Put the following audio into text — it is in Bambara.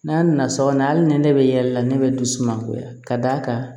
N'a nana sabanan ali ni ne bɛ yɛlɛ la ne bɛ dusumankoya ka d'a kan